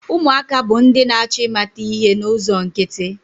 Ụmụaka bụ ndị na-achọ ịmata ihe n'ụzọ nkịtị.